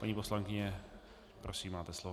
Paní poslankyně, prosím, máte slovo.